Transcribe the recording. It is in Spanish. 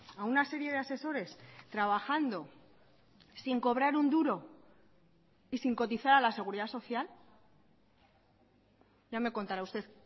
a una serie de asesores trabajando sin cobrar un duro y sin cotizar a la seguridad social ya me contará usted